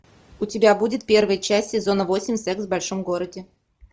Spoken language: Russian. у тебя будет первая часть сезона восемь секс в большом городе